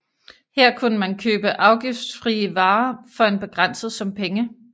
Her kunne man købe afgiftsfrie varer for en begrænset sum penge